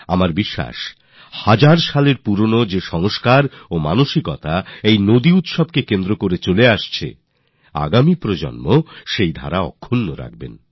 আমি আশা করি নদীগুলির প্রতি এমন মনোভাব জাগানোর এই হাজার হাজার বছরের প্রাচীন উৎসব আমাদের ভবিষ্যত প্রজন্মকে জুড়বে